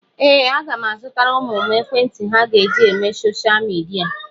Ee, aga m azụtara ụmụ m ekwentị ha ga-eji eme soshal midia.